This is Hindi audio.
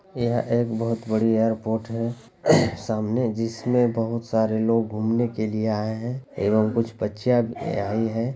यह एक बहुत बड़ी एयरपोर्ट है सामने जिसमें बहुत सारे लोग घूमने के लिए आए है एवं कुछ बच्चियां भी आई है।